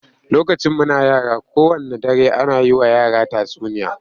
Lokacin muna yara, kowanne dare ana yi wa yara tatsuniya